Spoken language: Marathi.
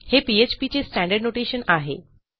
हे PHPचे स्टँडर्ड नोटेशन आहे